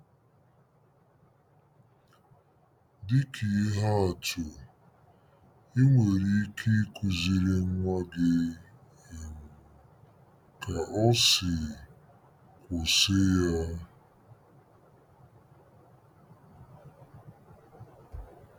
Dị ka ihe atụ, i nwere ike ịkụziri nwa gị um ka ọ sị: “ Kwụsị ya!